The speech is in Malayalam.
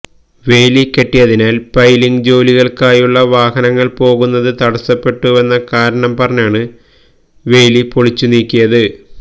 വേലി കെട്ടിയതിനാൽ പൈലിങ് ജോലികൾക്കായുള്ള വാഹനങ്ങൾ പോകുന്നത് തടസ്സപ്പെട്ടുവെന്ന കാരണം പറഞ്ഞാണ് വേലി പൊളിച്ചുനീക്കിയത്